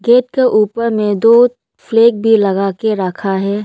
Gate के ऊपर में दो फ्लैग भी लगा के राखा है।